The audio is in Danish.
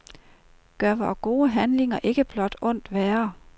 Gør vore gode handlinger ikke blot ondt værre?